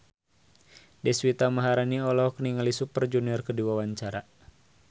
Deswita Maharani olohok ningali Super Junior keur diwawancara